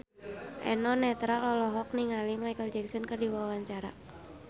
Eno Netral olohok ningali Micheal Jackson keur diwawancara